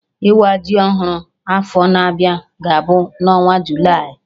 Ịwa ji ọhụrụ afọ na-abịa ga-abụ na onwa Julaị